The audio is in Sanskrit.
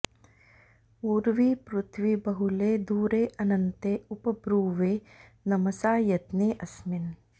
उर्वी पृथ्वी बहुले दूरेअन्ते उप ब्रुवे नमसा यज्ञे अस्मिन्